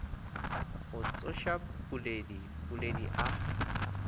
go tsoša puledi puledi a